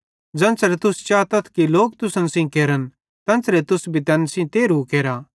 ते ज़ेन्च़रे तुस चातथ कि लोक तुसन सेइं केरन तेन्च़रे तुस भी तैन सेइं तेरहु केरा